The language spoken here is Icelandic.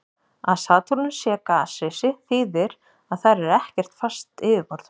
Að Satúrnus sé gasrisi þýðir að þar er ekkert fast yfirborð.